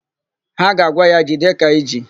Ha ga-agwa ya, "jide ka i ji"!